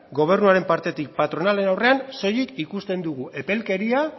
gobernuaren partetik patronalen aurrean soilik ikusten dugu epelkeria